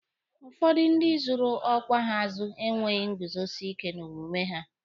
Ụfọdụ ndị zụrụ ọkwa ha azụ enweghị nguzosike n'omume ha